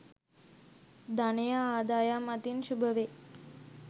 ධනය ආදායම් අතින් ශුභවේ.